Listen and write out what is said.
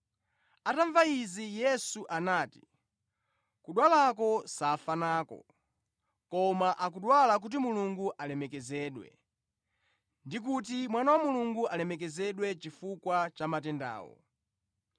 Atamva izi, Yesu anati, “Kudwalako safa nako. Koma akudwala kuti Mulungu alemekezedwe; ndi kuti Mwana wa Mulungu alemekezedwe chifukwa cha matendawo.”